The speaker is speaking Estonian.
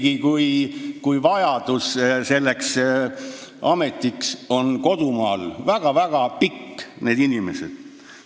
Liiatigi, kui seda ametit vajavad väga-väga paljud inimesed kodumaal.